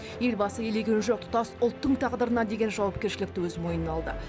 елбасы елеген жоқ тұтас ұлттың тағдырына деген жауапкершілікті өз мойнына алды